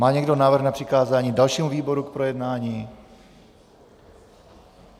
Má někdo návrh na přikázání dalšímu výboru k projednání?